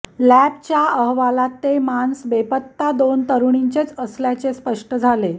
लॅबच्या अहवालात ते मांस बेपत्ता दोन तरुणींचेच असल्याचे स्पष्ट झाले